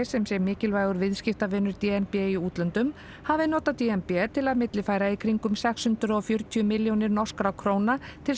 sem sé mikilvægur viðskiptavinur d n b í útlöndum hafi notað d n b til þess að millifæra í kringum sex hundruð og fjörutíu milljónir norskra króna til